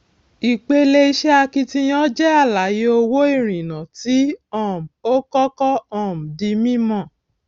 ìpele iṣẹ akitiyan jẹ àlàyé owó ìrìnà tí um ó kọkọ um di mímọ